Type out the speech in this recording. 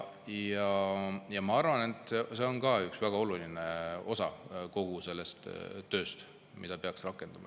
Ma arvan, et see on ka üks väga oluline osa kogu sellest tööst, mida peaks rakendama.